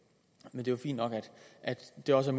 er jo fint nok at det også